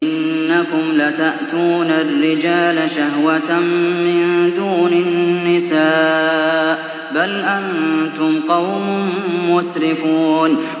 إِنَّكُمْ لَتَأْتُونَ الرِّجَالَ شَهْوَةً مِّن دُونِ النِّسَاءِ ۚ بَلْ أَنتُمْ قَوْمٌ مُّسْرِفُونَ